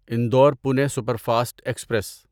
Indore Pune superfast express